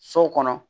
So kɔnɔ